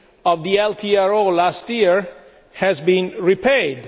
of the LTRO last year has been repaid.